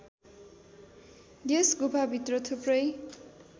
यस गुफाभित्र थुप्रै